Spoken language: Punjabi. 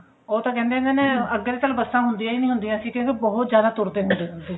ਉਹ ਤਾਂ ਕਹਿੰਦੇ ਹੁੰਦੇ ਨੇ ਅੱਗੇ ਤਾਂ ਚਲ ਬੱਸਾ ਹੁੰਦੀਆਂ ਨਹੀਂ ਹੁੰਦੀਆਂ ਅਸੀਂ ਕਿਉਂਕਿ ਬਹੁਤ ਜਿਆਦਾ ਤੁਰਦੇ ਹੁੰਦੇ ਸੀ